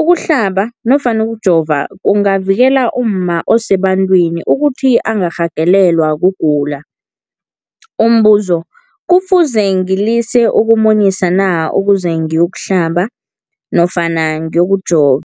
Ukuhlaba nofana ukujova kungavikela umma osebantwini ukuthi angarhagalelwa kugula. Umbuzo, kufuze ngilise ukumunyisa na ukuze ngiyokuhlaba nofana ngiyokujova?